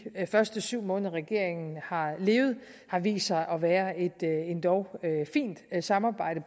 første syv måneder regeringen har levet har vist sig at være et endog fint samarbejde